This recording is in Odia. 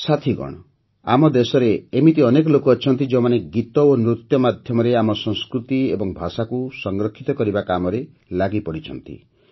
ସାଥିଗଣ ଆମ ଦେଶରେ ଏମିତି ଅନେକ ଲୋକ ଅଛନ୍ତି ଯେଉଁମାନେ ଗୀତ ଏବଂ ନୃତ୍ୟ ମାଧ୍ୟମରେ ଆମ ସଂସ୍କୃତି ଏବଂ ଭାଷାକୁ ସଂରକ୍ଷିତ କରିବା କାମରେ ଲାଗିପଡ଼ିଛନ୍ତି